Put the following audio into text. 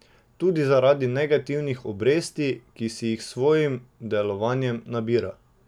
Tudi zaradi negativnih obresti, ki si jih s svojim delovanjem nabira.